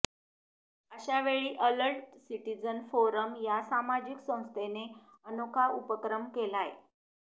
अशावेळी alert citizen forum या सामाजिक संस्थेने अनोखा उपक्रम केलाय